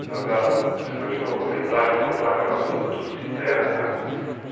Isabela, você me ajudou a lembrar, reportar aquelas ruas, tudo de terra, tá?